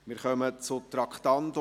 Wir kommen zum Traktandum 26.